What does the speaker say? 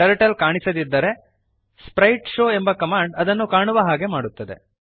turtle ಕಾಣಿಸದಿದ್ದರೆ ಗುಪ್ತವಾಗಿದ್ದರೆ sprite show ಎಂಬ ಕಮಾಂಡ್ ಅದನ್ನು ಕಾಣುವ ಹಾಗೆ ಮಾಡುತ್ತದೆ